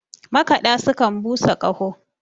makada sukan busa Kaho